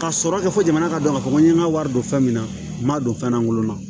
Ka sɔrɔ kɛ fɔ jamana ka dɔn ka fɔ ko n ye n ka wari don fɛn min na n ma don fɛn lankolon na